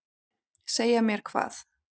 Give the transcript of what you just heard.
Segja mér hvað?